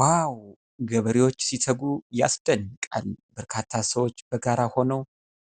ዋው ! ገበሬዎች ሲተጉ ያስደንቃል ! በርካታ ሰዎች በጋራ ሆነው